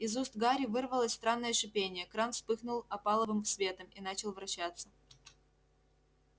из уст гарри вырвалось странное шипение кран вспыхнул опаловым светом и начал вращаться